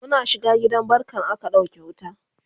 Muna shiga gidan barkan aka ɗauke wuta